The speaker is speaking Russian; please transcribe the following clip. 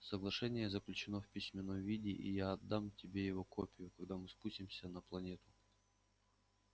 соглашение заключено в письменном виде и я отдам тебе его копию когда мы спустимся на планету